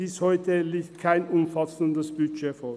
Bis heute liegt kein umfassendes Budget vor.